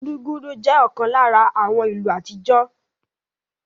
Gudugudu jẹ́ ọ̀kan lára àwọn ìlù àtijọ́